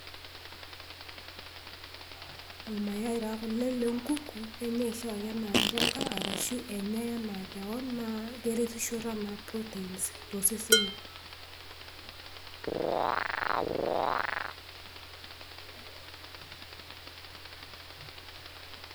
irmayai taa kulo le nkuku, enyai oshi ake enaa mboka, arashu enyai anaa kewon naa keretisho anaa protein too seseni